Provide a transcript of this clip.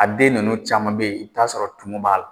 A den ninnu caman bɛ ye i bi t'a sɔrɔ tumu b'a la.